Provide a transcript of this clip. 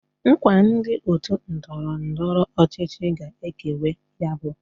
Nkwa ndi otu ndọrọ ndọrọ ọchịchị ga ekewe ya bu: